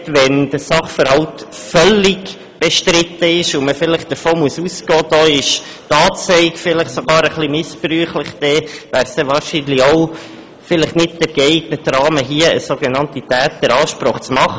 Wenn der Sachverhalt völlig bestritten ist und man vielleicht davon ausgehen muss, dass eine Anzeige möglicherweise sogar etwas missbräuchlich ist, dann wäre es vielleicht auch nicht der geeignete Rahmen, hier eine sogenannte «Täteransprache» zu machen.